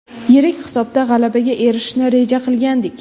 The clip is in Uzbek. Yirik hisobda g‘alabaga erishishni reja qilgandik.